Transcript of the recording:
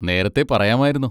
നേരത്തെ പറയാമായിരുന്നു.